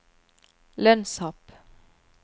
lønnshopp